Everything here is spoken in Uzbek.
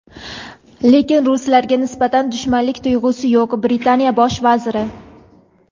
lekin ruslarga nisbatan dushmanlik tuyg‘usi yo‘q – Britaniya Bosh vaziri.